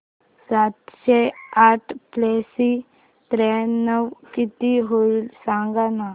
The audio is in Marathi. सातशे आठ प्लस त्र्याण्णव किती होईल सांगना